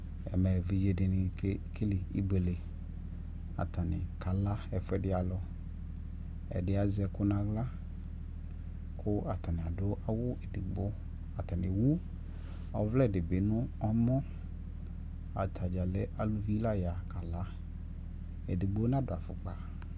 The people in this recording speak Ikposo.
ɛmɛ ɛvidzɛ dini kɛ kɛlɛ ɛbʋɛlɛ atani kala ɛƒʋɛdi alʋ, ɛdi azɛ ɛkʋ nʋ ala kʋ atani adʋ awʋ ɛdigbɔ kʋ atani ɛwʋ ʋvlɛ dibi nʋ ɛmɔ, atagya lɛ alʋvi la ya kala, ɛdigbɔ na dʋ aƒʋkpa